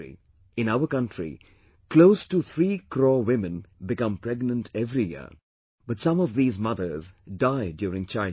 In our country, close to 3 crore women become pregnant every year but some of these mothers die during childbirth